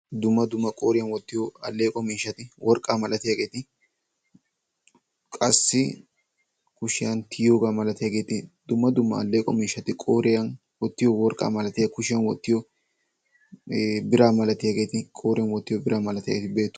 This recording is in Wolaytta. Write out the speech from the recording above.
Dumma dumma alleqo miishshati worqqaa milatiyaageti qassi kushiyaan tiyiyoogaa malatiyaageti dumma dumma alleqo miishshati qooriyaan wottiyoo worqqaa malatiyaageti kushshiyaan wottiyoo ee biraa malatiyaageti qooriyaan wottiyoo biraa malatiyaageti beettoosona.